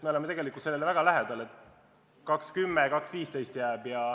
Me oleme sellele tegelikult väga lähedal: jääb erinevus 2.10, 2.15.